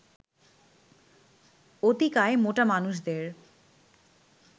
অতিকায় মোটা মানুষদের